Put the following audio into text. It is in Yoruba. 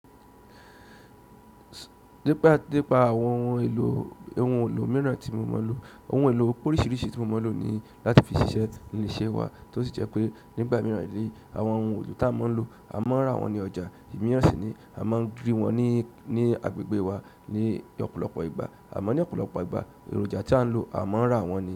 Dípa, dípa àwọn ohun èlò, ohun èlò mìíràn tí mo mọ̀ lọ, ohun èlò oríṣiríṣi tí mo mọ̀ lọ ní láti fi ṣiṣẹ́ ní ilé-iṣẹ́ wa tí ó sì jẹ́ pé nígbà mìíràn ní, àwọn ohun èlò tá a máa ń lò, a máa ń rà wọ́n ní ọjà. Ìmíràn sì ni a máa ń ri wọ́n ní, ní agbègbè wa ní ọ̀pọ̀lọpọ̀ ìgbà. A máa ń ní ọ̀pọ̀lọpọ̀ ìgbà èròjà tí a ń lò, a máa ń rà wọ́n ní.